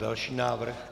Další návrh.